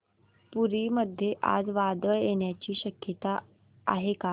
पुरी मध्ये आज वादळ येण्याची शक्यता आहे का